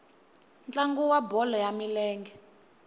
ntlangu wa bolo ya milenge